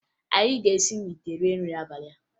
Anyị ga-esi n'ite rie nrị n'abalị a